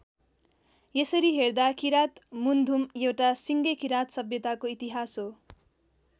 यसरी हेर्दा किरात मुन्धुम एउटा सिङ्गै किरात सभ्यताको इतिहास हो।